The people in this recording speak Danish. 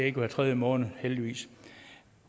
ikke hver tredje måned heldigvis